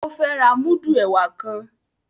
O fẹ rà mudu ẹwà ktan